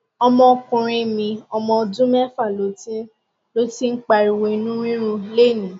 ọmọkùnrin mi ọmọ ọdún méfà ló ti ń ló ti ń pariwo inú rírun lénìí